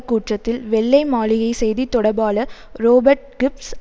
கூட்டத்தில் வெள்ளை மாளிகை செய்தி தொடர்பாளர் ரோபர்ட் கிப்ஸ்